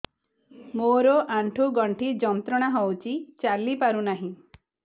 ମୋରୋ ଆଣ୍ଠୁଗଣ୍ଠି ଯନ୍ତ୍ରଣା ହଉଚି ଚାଲିପାରୁନାହିଁ